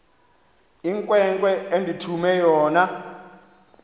inkwenkwe endithume yona